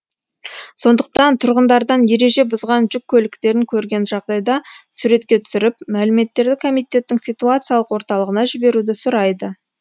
сондықтан тұрғындардан ереже бұзған жүк көліктерін көрген жағдайда суретке түсіріп мәліметтерді комитеттің ситуациялық орталығына жіберуді сұрайды